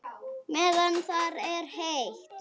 Meðan það er heitt.